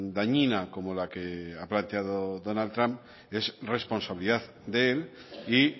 dañina como la que ha planteado donald trump es responsabilidad de él y